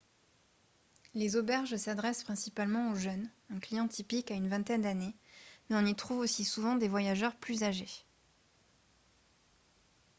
les auberges s'adressent principalement aux jeunes un client typique a une vingtaine d'années mais on y trouve aussi souvent des voyageurs plus âgés